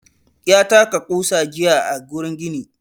Ya taka ƙusa jiya a gurin gini.